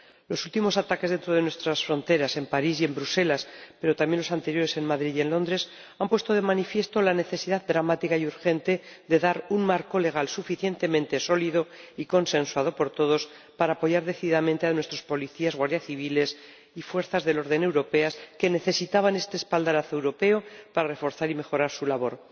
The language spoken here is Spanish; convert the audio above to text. Los últimos ataques dentro de nuestras fronteras, en París y en Bruselas, pero también los anteriores en Madrid y en Londres, han puesto de manifiesto la necesidad dramática y urgente de dar un marco legal suficientemente sólido y consensuado por todos para apoyar decididamente a nuestros policías, guardias civiles y fuerzas del orden europeas, que necesitaban este espaldarazo europeo para reforzar y mejorar su labor.